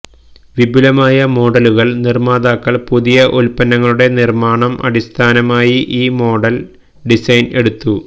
വിപുലമായ മോഡലുകൾ നിർമ്മാതാക്കൾ പുതിയ ഉല്പന്നങ്ങളുടെ നിർമ്മാണം അടിസ്ഥാനമായി ഈ മോഡൽ ഡിസൈൻ എടുത്തു